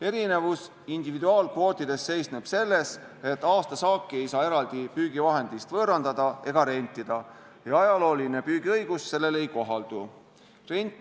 Erinevus individuaalkvootidest seisneb selles, et aastasaaki ei saa eraldi püügivahendist võõrandada ega rentida ja ajalooline püügiõigus sellele ei kohaldu.